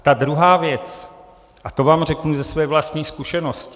A ta druhá věc, a to vám řeknu ze své vlastní zkušenosti.